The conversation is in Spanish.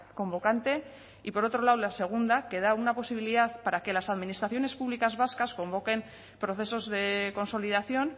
convocante y por otro lado la segunda que da una posibilidad para que las administraciones públicas vascas convoquen procesos de consolidación